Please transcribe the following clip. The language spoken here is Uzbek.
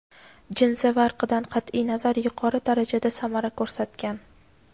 jinsi va irqidan qat’iy nazar yuqori darajada samara ko‘rsatgan.